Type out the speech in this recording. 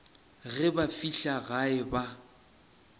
ge ba fihla gae ba